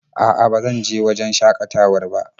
A'a ba zan je wajen shakatawar ba.